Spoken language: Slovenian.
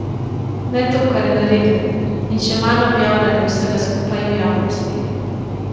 Ne to, kar je naredil, in še manj objavljanje vsega skupaj v javnosti.